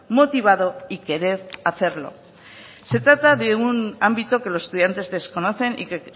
motivado y querer hacerlo se trata de un ámbito que los estudiantes desconocen y que